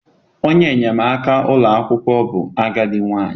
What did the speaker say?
Onye enyemaka ụlọ akwụkwọ bụ agadi nwanyị.